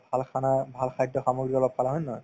ভাল khana ভাল খাদ্যসামগ্ৰী অলপ খালা হয় নে নহয়